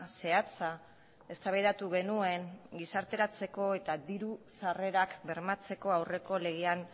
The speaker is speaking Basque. zehatza eztabaidatu genuen gizarteratzeko eta diru sarrerak bermatzeko aurreko legean